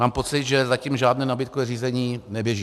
Mám pocit, že zatím žádné nabídkové řízení neběží.